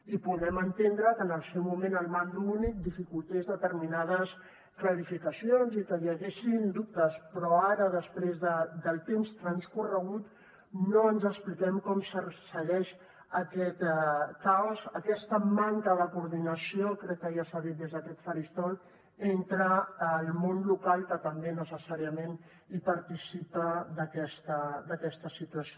i podem entendre que en el seu moment el mando únic dificultés determinades clarificacions i que hi haguessin dubtes però ara després del temps transcorregut no ens expliquem com segueix aquest caos aquesta manca de coordinació crec que ja s’ha dit des d’aquest faristol entre el món local que també necessàriament participa d’aquesta situació